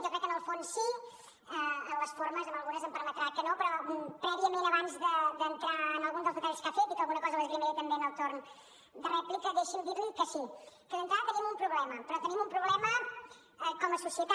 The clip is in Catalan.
jo crec que en el fons sí en les formes amb algunes em permetrà que no però prèviament abans d’entrar en alguns dels detalls que ha fet i que alguna cosa l’esgrimiré també en el torn de rèplica deixi’m dir li que sí que d’entrada tenim un problema però tenim un problema com a societat